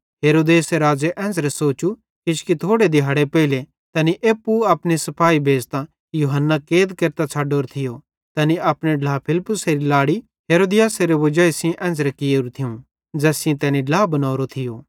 हेरोदेस राज़े एन्च़रां सोचू किजोकि थोड़े दिहाड़ना पेइले तैनी एप्पू अपने सिपाही भेज़तां यूहन्ना कैद केरतां छ़ड्डोरो थियो तैनी अपने ढ्ला फिलिप्पुसेरी लाड़ी हेरोदियासेरी वजाई सेइं एन्च़रां कियोरू थियूं ज़ैस सेइं तैनी ड्ला बनोरो थियो